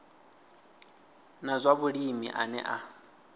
na zwa vhulimi ane a